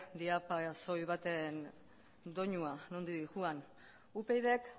soil baten doinua nondik doan upydk